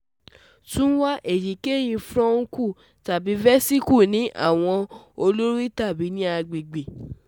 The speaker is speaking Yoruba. Tun wa eyikeyi furuncle tabi vesicle ni awọ-ori tabi ni agbegbe